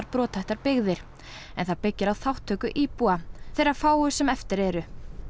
brothættar byggðir en það byggir á þátttöku íbúa þeirra fáu sem eftir eru